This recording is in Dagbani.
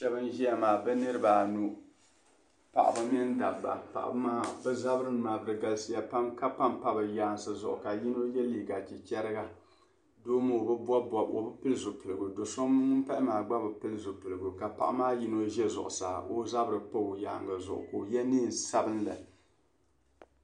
Shɛba n-ʒia maa bɛ niriba anu paɣiba mini dabba paɣiba maa bɛ zabirinima da galisiya pam ka pampa bɛ yaansi zuɣu ka yino ye liiga chichariga doo maa o bi pili zipiligu do' so ŋun pahi maa gba bi pili zipiligu ka paɣiba maa yino za zuɣusaa ka o zabiri pa o yaaŋga zuɣu ka ye neen' sabilinli.